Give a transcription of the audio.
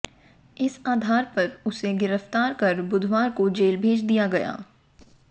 इस आधार पर उसे गिरफ्तार कर बुधवार को जेल भेज दिया गया